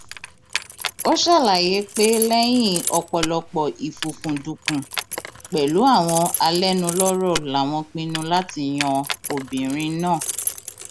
ó ṣàlàyé pé lẹyìn ọpọlọpọ ìfúkúndùnkùn pẹlú àwọn alẹnulọrọ làwọn pinnu láti yan obìnrin náà